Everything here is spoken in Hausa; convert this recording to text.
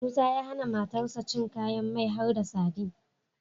Musa ya hAna matar shi cin kayan mai harda sadin